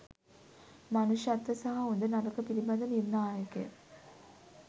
මනුෂ්‍යත්ව සහ හොඳ නරක පිලිබඳ නිර්ණායක